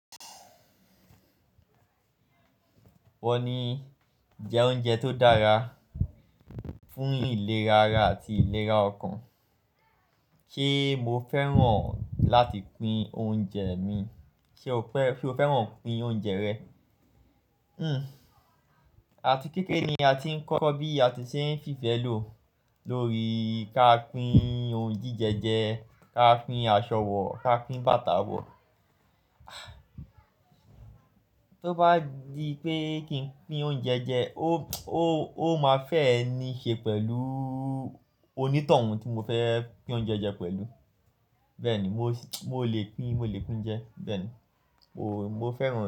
Wọ́n ní jẹ oúnjẹ tó dára, fún ìlera ara àti ìlera ọkàn. Ṣé mo fẹ́ràn láti pín oúnjẹ mi? Ṣé o fẹ́, ṣe o fẹ́ràn pín oúnjẹ rẹ? Hmm. Ati kéekere ni a ti ń kọ́ bí a ti ṣe ń fi ìfẹ́ lò lórí ká pín ohun jíjẹ jẹ, ká pín aṣọ wọ̀, ká pín bàtà wọ̀. Tó bá di pé kí n pín oúnjẹ jẹ, ó, ó, ó máa fe ni i ṣe pẹ̀lú oní tohun tí mo fẹ́ pín oúnjẹ jẹ pẹ̀lú. Bẹ́ẹ̀ ni, mo lè pín, mo lè pín jẹ. Bẹ́ẹ̀ ni, mo mo fẹ́ràn.